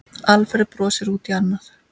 Alfreð brosir út í annað.